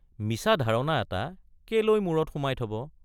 মিছা ধাৰণা এটা কেলৈ মূৰত সুমাই থব?